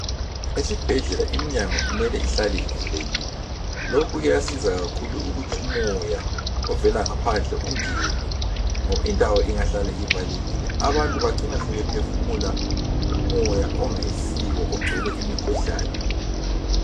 Esibhedlela iminyango imele ihlale ivulekile lokhu kuyasiza kakhulu ukuthi umoya ovela ngaphandle ungene ngoba indawo ingahlala ivalekile abantu bacina sebephefumula umoya ongayisiwo ogcwele imikhuhlane.